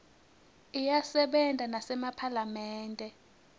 iyasebenta nasemaphalamende